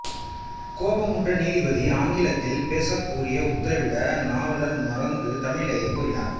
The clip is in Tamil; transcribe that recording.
கோபமுற்ற நீதிபதி ஆங்கிலத்தில் பேசக் கூறி உத்தரவிட நாவலர் மறுத்து தமிழிலேயே கூறினார்